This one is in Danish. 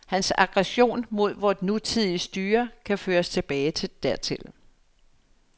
Hans aggression mod vort nutidige styre kan føres tilbage dertil.